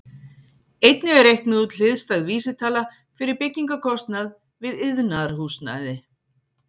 Einnig er reiknuð út hliðstæð vísitala fyrir byggingarkostnað við iðnaðarhúsnæði.